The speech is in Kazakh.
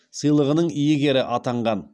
сыйлығының иегері атанған